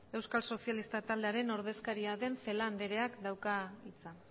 euskal sozialistak taldearen ordezkaria den celaá andereak dauka hitza